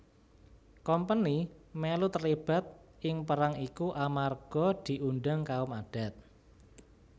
Kompeni melu terlibat ing perang iku amarga diundang kaum adat